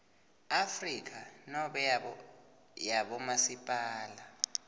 afrika nobe yabomasipala